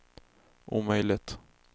omöjligt